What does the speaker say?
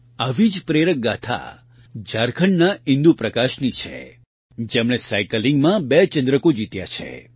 આવી જ પ્રેરક ગાથા ઝારખંડના ઇન્દુ પ્રકાશની છે જેમણે સાયકલિંગમાં ૨ ચંદ્રકો જીત્યા છે